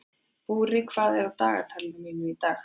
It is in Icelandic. Búri, hvað er á dagatalinu mínu í dag?